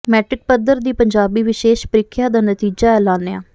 matric ਪੱਧਰ ਦੀ ਪੰਜਾਬੀ ਵਿਸ਼ੇਸ਼ ਪ੍ਰੀਖਿਆ ਦਾ ਨਤੀਜਾ ਐਲਾਨਿਆ